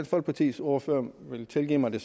folkepartis ordfører vil tilgive mig det